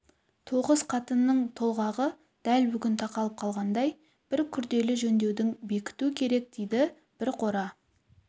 тоғыз қатынның толғағы дәл бүгін тақалып қалғандай бір күрделі жөндеудің бекіту керек дейді бір қора